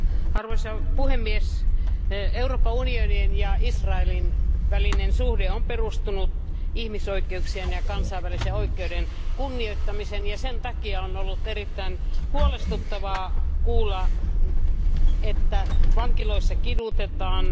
Arvoisa puhemies, Euroopan unionin ja Israelin välinen suhde on perustunut ihmisoikeuksien ja kansainvälisen oikeuden kunnioittamiseen ja sen takia on ollut erittäin huolestuttavaa kuulla, että vankiloissa kidutetaan.